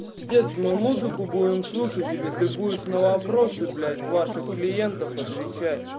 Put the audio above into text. пиздец мы музыку будем слушать или ты будешь на вопросы блять ваших клиентов отвечать